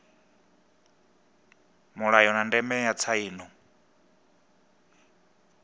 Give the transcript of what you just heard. mulayo na ndeme ya tsaino